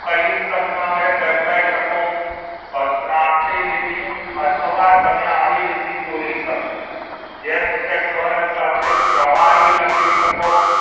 કઈ સંજ્ઞા વડે દર્શાવી શકું તો ત્રાસી લીટી અથવા તમે આડી લીટી દોરી શકો જેમ કે ગન સાથે પ્રવાહી લખી શકો